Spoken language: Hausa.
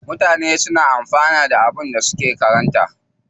Mutane na amfanuwa da abubuwan da suka karanta.